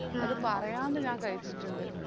അത് പറയാണ്ട് ഞാൻ കയിച്ചിറ്റിണ്ട്